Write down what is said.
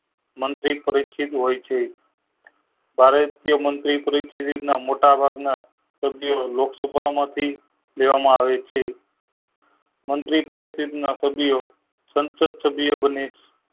મંત્રી પરિચિત હોય છે ભારતીય મંત્રી પરિસદ ના મોટા ભાગ ના સભ્ય લોક સભા માંથી લેવા માં આવે છે મંત્રી પરિસ્થિતિ ના સભ્યો સંસદ સભ્ય બને છે